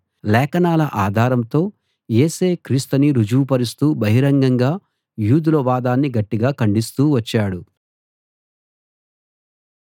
లేఖనాల ఆధారంతో యేసే క్రీస్తని రుజువు పరుస్తూ బహిరంగంగా యూదుల వాదాన్ని గట్టిగా ఖండిస్తూ వచ్చాడు